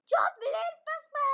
Það var ekkert hlé.